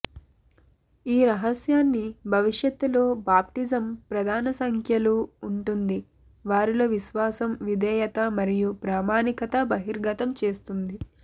ఈ రహస్యాన్ని భవిష్యత్తులో బాప్టిజం ప్రధాన సంఖ్యలు ఉంటుంది వారిలో విశ్వాసం విధేయత మరియు ప్రామాణికత బహిర్గతం చేస్తుంది